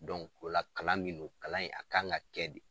o la kalan min do, kalan in a kan ŋa kɛ de.